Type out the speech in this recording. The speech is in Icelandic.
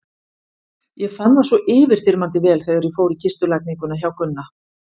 Ég fann það svo yfirþyrmandi vel þegar ég fór í kistulagninguna hjá Gunna.